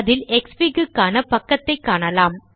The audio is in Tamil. அதில் க்ஸ்ஃபிக் க்கான பக்கத்தைக் காணலாம்